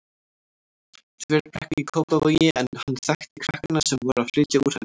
Þverbrekku í Kópavogi en hann þekkti krakkana sem voru að flytja úr henni.